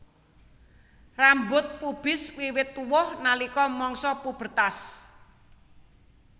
Rambut pubis wiwit tuwuh nalika mangsa pubertas